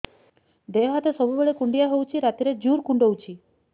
ଦେହ ହାତ ସବୁବେଳେ କୁଣ୍ଡିଆ ହଉଚି ରାତିରେ ଜୁର୍ କୁଣ୍ଡଉଚି